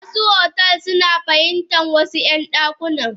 Wasu otel suna fahimtan wasu yan dakuna.